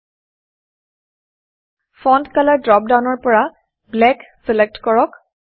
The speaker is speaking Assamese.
ফন্ট কলৰ ফণ্ট কালাৰ ড্ৰপ ডাউনৰ পৰা Blackব্লেক চিলেক্টকৰক